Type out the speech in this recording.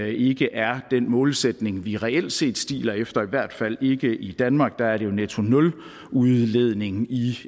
ikke er den målsætning vi reelt set stiler efter i hvert fald ikke i danmark der er det jo en netto nuludledning i